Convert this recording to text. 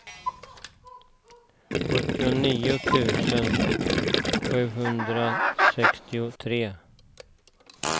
sjuttionio tusen sjuhundrasextiotre